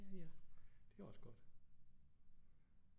Det er også godt